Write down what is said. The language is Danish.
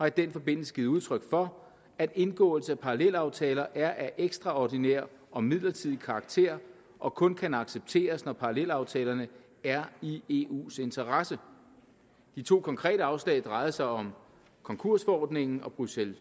i den forbindelse givet udtryk for at indgåelse af parallelaftaler er af ekstraordinær og midlertidig karakter og kun kan accepteres når parallelaftalerne er i eus interesse de to konkrete afslag drejede sig om konkursforordningen og bruxelles